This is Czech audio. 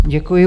Děkuji.